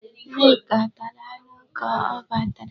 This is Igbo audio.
Nneka tara anụ ka ọ batara.